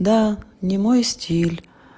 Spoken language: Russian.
да не мой стиль